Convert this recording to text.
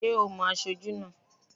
Ṣé ò mo aṣojú náà?